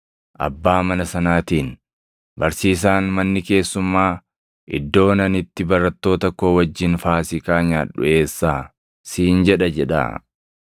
abbaa mana sanaatiin, ‘Barsiisaan, “Manni keessummaa, iddoon ani itti barattoota koo wajjin Faasiikaa nyaadhu eessaa?” siin jedha’ jedhaa.